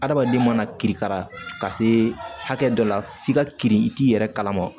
Adamaden mana kirikara ka se hakɛ dɔ la f'i ka kiri i t'i yɛrɛ kalama